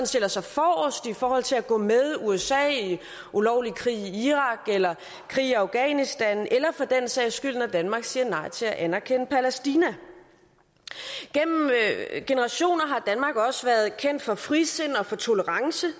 stiller sig forrest i forhold til at gå med usa ulovlig krig i irak eller krig i afghanistan eller for den sags skyld når danmark siger nej til at anerkende palæstina gennem generationer har danmark også været kendt for frisind og for tolerance